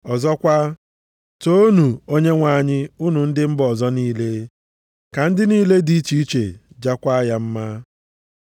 Ọzọkwa, “Toonu Onyenwe anyị unu ndị mba ọzọ niile, ka ndị niile dị iche iche jaakwa ya mma.” + 15:11 \+xt Abụ 117:1\+xt*